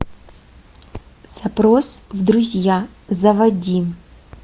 запрос в друзья заводи